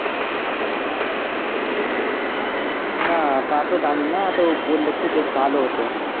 উম না তা তো জানি না, তো বললে একটু বেশ ভালো হোত